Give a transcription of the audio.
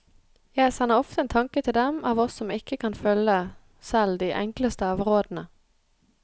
Jeg sender ofte en tanke til dem av oss som ikke kan følge selv de enkleste av rådene.